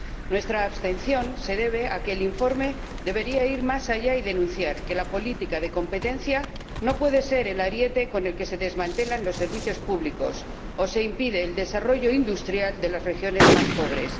Nuestra abstención se debe a que el informe debería ir más allá y denunciar que la política de competencia no puede ser el ariete con el que se desmantelan los servicios públicos o se impide el desarrollo industrial de las regiones más pobres.